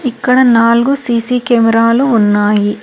ఇక్కడ నాలుగు సీ_సీ కెమెరాలు ఉన్నాయి.